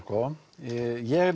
ég